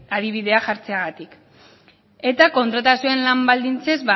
adibidea jartzeagatik eta kontratazioen lan baldintzez